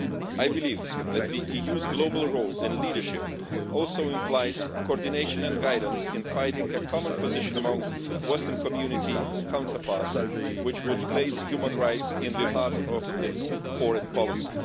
I believe that the EU's global role in leadership also implies coordination and guidance in fighting a common position among western community counterparts, which would place human rights at the heart of its foreign policy.